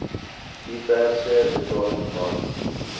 diverse betalings bas